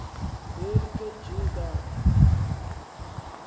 lel kg kanti